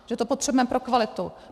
Že to potřebujeme pro kvalitu.